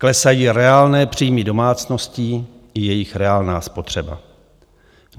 Klesají reálné příjmy domácností i jejich reálná spotřeba.